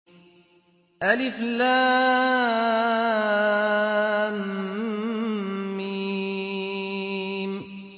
الم